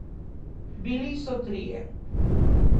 Bili so trije.